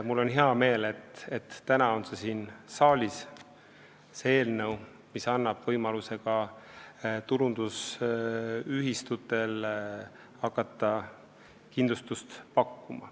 Mul on hea meel, et täna on see eelnõu siin saalis, see annab ka tulundusühistutele võimaluse hakata kindlustust pakkuma.